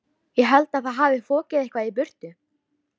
Ég held að það hafi fokið eitthvað í burtu.